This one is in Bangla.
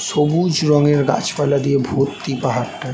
সবুজ রঙের গাছপালা দিয়ে ভর্তি পাহাড়টা ।